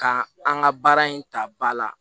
Ka an ka baara in ta ba la